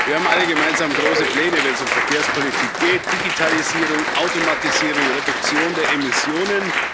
Wir haben alle gemeinsam große Pläne, wenn es um Verkehrspolitik geht Digitalisierung, Automatisierung, Reduktion der Emissionen.